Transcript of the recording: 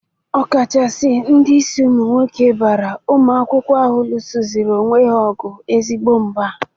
Ọkachasị ndị isi ụmụ nwoke bara ụmụ akwụkwọ ahụ lụzsịrị onwe ha ọgụ ezigbo mba.